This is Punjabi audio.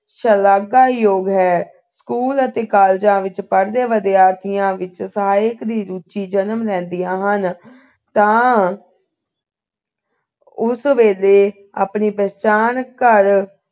ਸ਼ਲਾਘਾਯੋਗ ਹੈ school ਅਤੇ college ਵਿਚ ਪੜ੍ਹਦੇ ਵਿਦਿਆਰਥੀਆਂ ਵਿੱਚ ਸਾਹਿਤ ਦੀ ਰੁਚੀ ਵਿੱਚ ਸਾਹਿਤ ਦੀ ਰੁਚੀ ਉਸ ਵੇਲੇ ਆਪਣੀ ਪਹਿਚਾਣ ਕਰ